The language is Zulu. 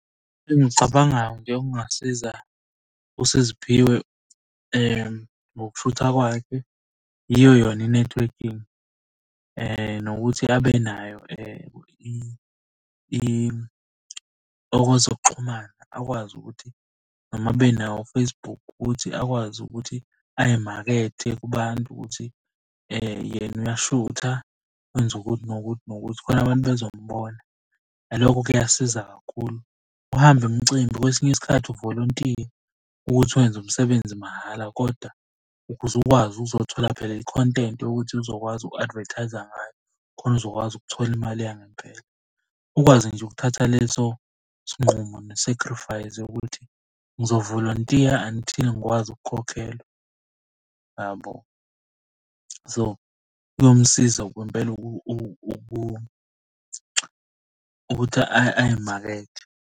Engicabangayo nje okungasiza uSiziphiwe ngokushutha kwakhe, yiyo yona i-networking. Nokuthi abenayo okwezokuxhumana, akwazi ukuthi noma abe nawo u-Facebook akwazi ukuthi ayimakethe kubantu ukuthi yena uyashutha, wenza ukuthi nokuthi nokuthi, khona abantu bezomubona. Nalokho kuyasiza kakhulu, uhambe imicimbi kwesinye isikhathi uvolontiye ukuthi wenze umsebenzi mahhala kodwa ukuze ukwazi uzothola phela i-content yokuthi uzokwazi uku-advertiser ngayo khona uzokwazi ukuthola imali yangempela. Ukwazi nje ukuthatha leso sinqumo ne-sacrifice yokuthi ngizovolontiya until ngikwazi ukukhokhelwa yabo. So, kuyomsiza kwempela ukuthi ay'makethe.